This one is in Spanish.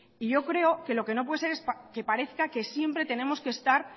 y yo creo que lo que no puede ser es que parezca que siempre tenemos que estar